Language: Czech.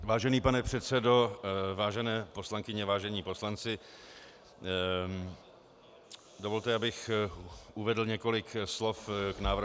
Vážený pane předsedo, vážené poslankyně, vážení poslanci, dovolte, abych uvedl několik slov k návrhu.